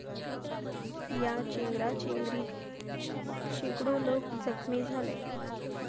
या चेंगराचेंगरीत शेकडो लोक जखमी झाले.